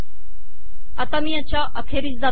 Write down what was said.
आता मी याच्या अखेरीस जाते